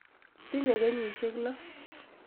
Tinye kenyisyek lo.